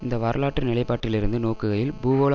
இந்த வரலாற்று நிலைப்பாட்டில்இருந்து நோக்குகையில் பூகோள